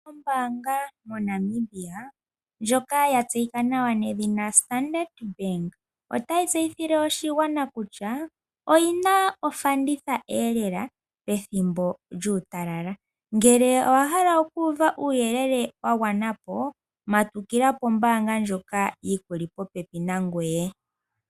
Ombaanga moNamibia ndjoka yatseyika nawa nedhina Standard Bank otayi tseyithile oshigwana kutya oyina ofandithaelela, pethimbo lyuutalala. Ngele owahala okuuva uuyelele wagwanapo matukila kombaanga ndjoka yikuli popepi nangoye.